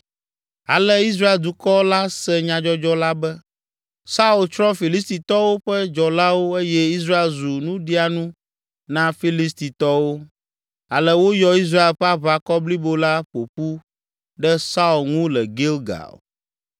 Ale Israel dukɔ la se nyadzɔdzɔ la be: Saul tsrɔ̃ Filistitɔwo ƒe dzɔlawo eye Israel zu nuɖianu na Filistitɔwo. Ale woyɔ Israel ƒe aʋakɔ blibo la ƒo ƒu ɖe Saul ŋu le Gilgal.